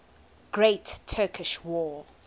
great turkish war